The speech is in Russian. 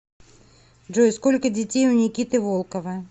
джой сколько детей у никиты волкова